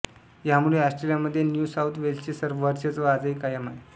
ह्यामुळे ऑस्ट्रेलियामध्ये New South वेल्सचे वर्चस्व आजही कायम आहे